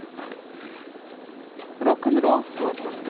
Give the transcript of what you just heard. рок н ролл фото